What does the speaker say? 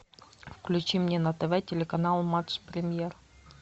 включи мне на тв телеканал матч премьер